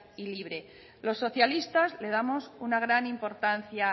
y libre los socialistas le damos una gran importancia